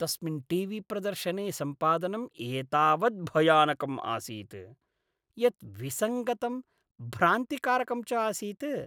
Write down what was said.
तस्मिन् टीवीप्रदर्शने सम्पादनं एतावत् भयानकम् आसीत् यत् विसङ्गतं भ्रान्तिकारकं च आसीत् ।